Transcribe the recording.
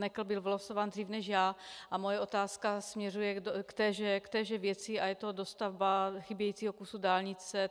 Nekl byl vylosován dřív než já a moje otázka směřuje k téže věci a je to dostavba chybějícího kusu dálnice.